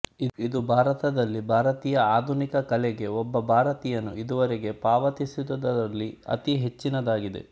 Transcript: ಇದು ಭಾರತದಲ್ಲಿ ಭಾರತೀಯ ಆಧುನಿಕ ಕಲೆಗೆ ಒಬ್ಬ ಭಾರತೀಯನು ಇದುವರೆಗೆ ಪಾವತಿಸಿದುದರಲ್ಲಿ ಅತಿ ಹೆಚ್ಚಿನದಾಗಿದೆ